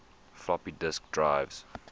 floppy disk drives